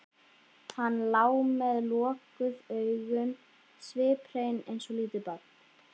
Hann lá með lokuð augun sviphreinn eins og lítið barn.